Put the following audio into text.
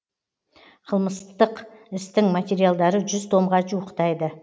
қылмыстық істің материалдары жүз томға жуықтайды